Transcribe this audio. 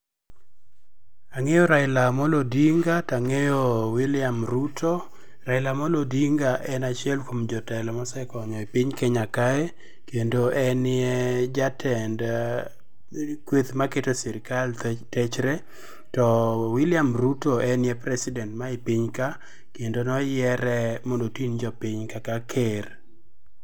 Ang'eyo Raila Amollo Odinga, tang'eyo William Ruto. Raila Amollo Odinga en achiel kuom jotelo ma osekonyo e piny Kenya ka. Kendo enie jatend kweth maketo sirikal techre. To WIlliam Ruto enie president ma e piny ka kendo noyiere mondo oting' jopiny kaka ker.